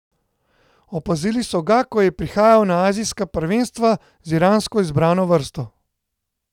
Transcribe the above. Opazili so ga, ko je prihajal na azijska prvenstva z iransko izbrano vrsto.